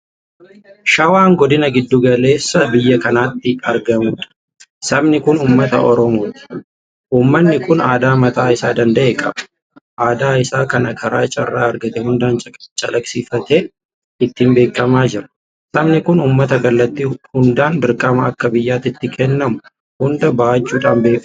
Shawaan Godina giddu galeessa biyya kanaatti argamudha. Sabni Kun uummata oromooti. Uummanni kun aadaa mataa isaa danda'e qaba. Aadaa isaa kana karaa carraa argate hundaan calaqqisiifatee ittiin beekamaa jira. Sabni kun uummata kallattii hundaan dirqama akka biyyaatti itti kennamu hunda bahachuudhaan beekamudha.